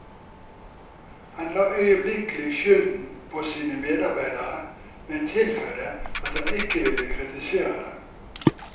Han la øyeblikkelig skylden på sine medarbeidere, men tilføyde at han ikke ville kritisere dem.